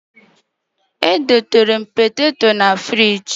Edobere m poteto na ngwa na fịrij